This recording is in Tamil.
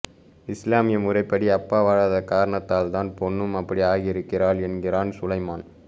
இஸ்லாமிய முறைப்படி அப்பா வாழாத காரணத்தால்தான் பெண்ணும் அப்படி ஆகியிருக்கிறாள் என்கிறான் சுலைமான்